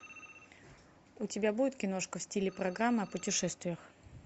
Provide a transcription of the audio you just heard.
у тебя будет киношка в стиле программа о путешествиях